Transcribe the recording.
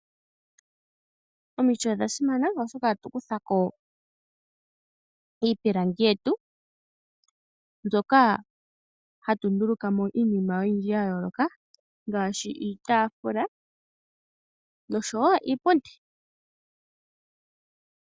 Omiti odha simana oshoka ohatu kuthako iipilangi yetu mbyoka hatu ndulukamo iinima oyindji yayooloka ngaashi iitaafula noshowo iipundi.